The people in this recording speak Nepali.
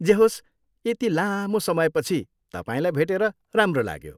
जे होस्, यति लामो समयपछि तपाईँलाई भेटेर राम्रो लाग्यो।